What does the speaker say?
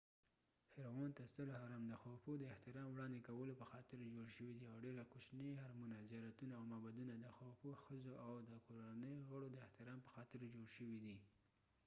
ستر هرم د خوفو khufu فرعون ته د احترام وړاندې کولو پخاطر جوړ شوی دی او ډیر کوچني هرمونه، زیارتونه او معبدونه د خوفو ښځو او د کورنۍ غړو د احترام په خاطر جوړ شوي دي